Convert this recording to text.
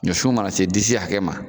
Ɲɔsun mana se disi hakɛ ma.